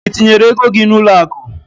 Ị tinyere ego gị n'ụlọakụ?